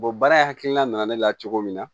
baara hakilina nana ne la cogo min na